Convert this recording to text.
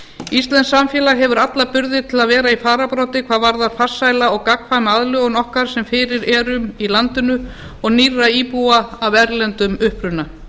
íslenskt samfélag hefur alla burði til að vera í fararbroddi hvað varðar farsæla og gagnkvæma aðlögun okkar sem fyrir erum í landinu og nýrra íbúa af erlendum uppruna